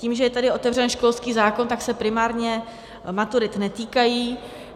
Tím, že je tady otevřen školský zákon, tak se primárně maturit netýkají.